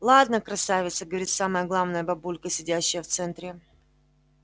ладно красавица говорит самая главная бабулька сидящая в центре